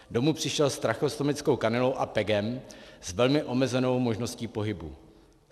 Domů přišel s tracheostomickou kanylou a PEGem s velmi omezenou možností pohybu.